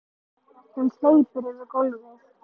Hún hleypur yfir gólfið.